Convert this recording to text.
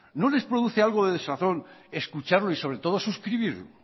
no les produce algo de desazón escucharlo y sobre todo suscribirlo